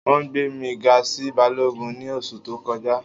Wọn gbẹ̀ mi gà sí bálọ́gùn ni oṣù tó kọja.